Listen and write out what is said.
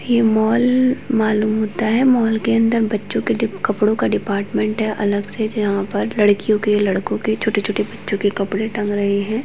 ये मॉल मालुम होता है मॉल के अन्दर बच्चों के डीप कपड़ों का डिपार्टमेंट है अलग से जहाँ पर लड़कीयों के लडकों के छोटे छोटे बच्चों के कपड़े टंगे रहे हैं।